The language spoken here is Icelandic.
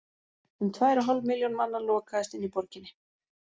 Um tvær og hálf milljón manna lokaðist inni í borginni.